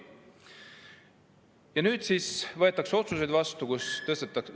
Ja nüüd siis võetakse vastu otsuseid, millega tõstetakse …